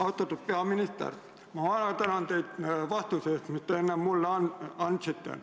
Austatud peaminister, ma tänan teid vastuse eest, mille te enne mulle andsite!